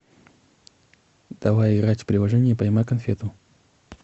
давай играть в приложение поймай конфету